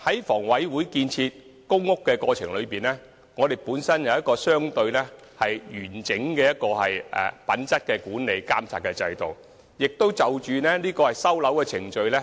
房委會在建屋期間，設有一個相對完整的品質管理及監察制度，並會不時檢討收樓程序。